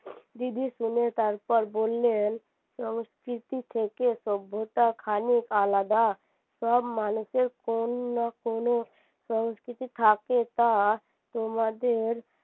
দিদি শুনে তারপর বললেন সংস্কৃতি থেকে সভ্যতা খানিক আলাদা সব মানুষের কোনো না কোনো সংস্কৃতি থাকে তা তোমাদের